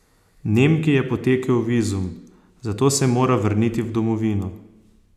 Nemki je potekel vizum, zato se mora vrniti v domovino.